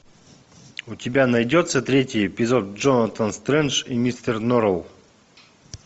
у тебя найдется третий эпизод джонатан стрендж и мистер норрелл